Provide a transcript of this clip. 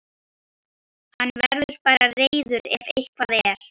Hann verður bara reiður ef eitthvað er.